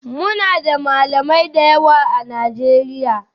Muna da Malamai da yawa a Najeriya